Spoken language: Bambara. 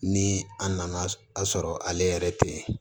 Ni a nana a sɔrɔ ale yɛrɛ te yen